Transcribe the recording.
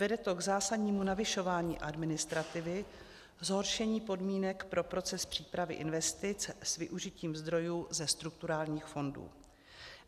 Vede to k zásadnímu navyšování administrativy, zhoršení podmínek pro proces přípravy investic s využitím zdrojů ze strukturálních fondů.